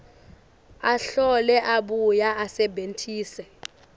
ahlole abuye asebentise